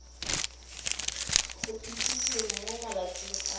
go itsise mo malatsing a